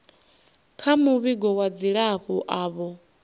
kha muvhigo wa dzilafho avho